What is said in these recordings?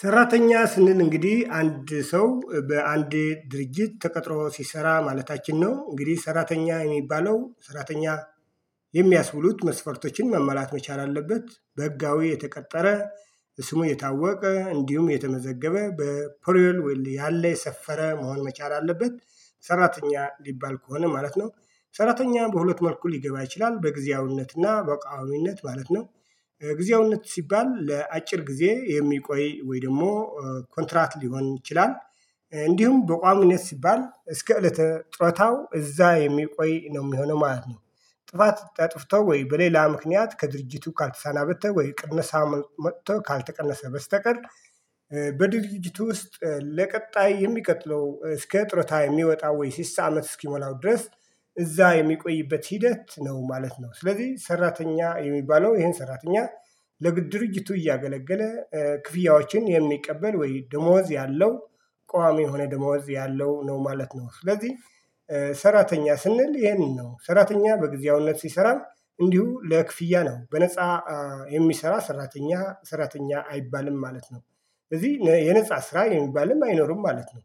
ሰራተኛ ስንል እንግዲህ አንድ ሰው በአንድ ድርጅት ተቀጥሮ ሲሰራ ማለታችን ነው። እንግዲህ ሰራተኛ የሚባለው ሰራተኛ የሚያስብሉት መስፈርቶችን ማሟላት መቻል አለበት በህጋዊ የተቀጠረ ስሙ የታወቀ እንዲሁም የተመዘገበ በፔሮል ወይም ያለ የሰፈረ መሆን መቻል አለበት። ሰራተኛ ሊባል ከሆነ ማለት ነው። ሰራተኛ በሁለት መልኩ ሊገባ ይችላል በጊዜያዊነትና በቋሚነት ማለት ነው። ጊዜያዊነት ሲባል ለአጭር ጊዜ የሚቆይ ወይ ደግሞ ኮንትራት ሊሆን ይችላል። እንዲሁም በቋሚነት ሲባል እስከ እለተ ጦረታው እዛ የሚቆይ ነው የሚሆነው ማለት ነው። ጥፋት አጥፍቶ ወይ በሌላ ምክንያት ከድርጅቱ ካልተሰናበተ ወይ ቅነሳ መጥቶ ካልተቀነሰ በስተቀር። በድርጅቱ ውስጥ ለቀጣይ የሚቀጥለው እስከ ጡረታ የሚወጣ ወይ ስልሳ አመት እስኪሞላው ድረስ። እዛ የሚቆይበት ሂደት ነው ማለት ነው። ስለዚህ ሰራተኛ የሚባለው ይሄን ሰራተኛ ለድርጅቱ እያገለገለ ክፍያዎችን የሚቀበል ወይ ደሞዝ ያለው ቋሚ የሆነ ደሞዝ ያለው ነው ማለት ነው። ስለዚህ። ሰራተኛ ስንል ይሄንን ነው ሰራተኛ በጊዜያዊነት ሲሰራ እንዲሁ ለክፍያ ነው በነፃ የሚሰራ ሰራተኛ ሰራተኛ አይባልም ማለት ነው። ስለዚህ የነፃ ስራ የሚባልም አይኖርም ማለት ነው።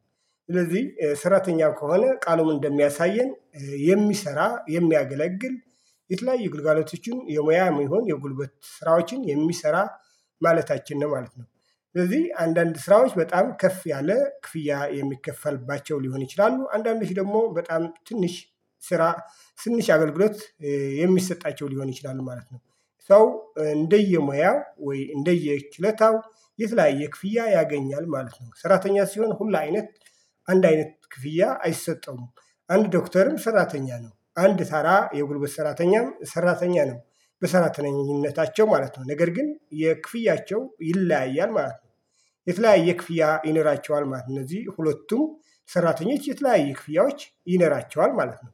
ስለዚህ ስራተኛ ከሆነ ቃሉን እንደሚያሳየን የሚሰራ የሚያገለግል የተለያዩ ግልጋሎቶችን የሙያም ይሁን የጉልበት ስራዎችን የሚሰራ ማለታችን ነው ማለት ነው። ስለዚህ አንዳንድ ስራዎች በጣም ከፍ ያለ ክፍያ የሚከፈልባቸው ሊሆኑ ይችላሉ። አንዳንዶች ደግሞ በጣም ትንሽ ስራ ትንሽ አገልግሎት የሚሰጣቸው ሊሆን ይችላሉ ማለት ነው። ሰው እንደየሙያ ወይ እንደየችሎታው የተለያየ ክፍያ ያገኛል ማለት ነው። ሰራተኛ ሲሆን ሁሉ አይነት አንድ አይነት ክፍያ አይሰጠውም። አንድ ዶክተርም ሰራተኛ ነው አንድ ተራ የጉልበት ሰራተኛም ሰራተኛ ነው። በሰራተኝነታቸው ማለት ነው ነገር ግን የክፍያቸው ይለያያል ማለት ነው። የተለያየ ክፍያ ይነራቸዋል ማለት ነው። እነዚህ ሁለቱም ሰራተኞች የተለያየ ክፍያዎች ይኖራቸዋል ማለት ነው።